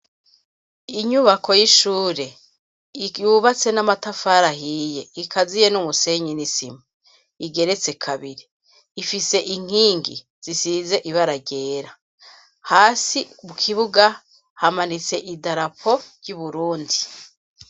Inyubako y'ishure yubatse n'amatafarahiye ikaziye n'umusenyi nisima igeretse kabiri ifise inkingi zisize ibararyera hasi ubukibuga hamanitse i darapo ry'uburundi.